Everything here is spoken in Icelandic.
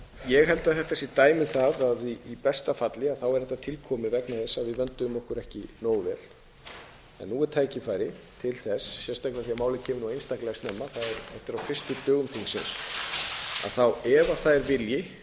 ég held að þetta sé dæmi um það að í besta falli er þetta tilkomið vegna þess að við vönduðum okkur ekki nógu vel nú er tækifæri til þess sérstaklega af því málið kemur nú einstaklega snemma þetta er á fyrstu dögum þingsins ef það er vilji